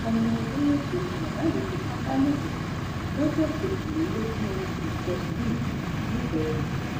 ọmọ ọdún méje ni bàbá yìí fipá bá lò pọ lọjọ kejìlélógún oṣù kẹsànán yìí nìpẹrù